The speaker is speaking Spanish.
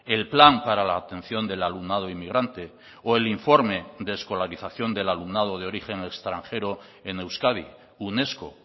el plan para la atención del alumnado inmigrante o el informe de escolarización del alumnado de origen extranjero en euskadi unesco